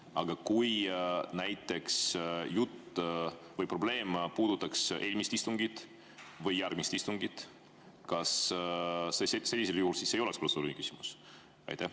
Aga kui näiteks jutt või probleem puudutaks eelmist või järgmist istungit, kas siis sellisel juhul ei oleks see protseduuriline küsimus?